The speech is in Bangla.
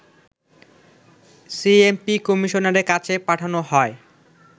সিএমপি কমিশনারের কাছে পাঠানো হয়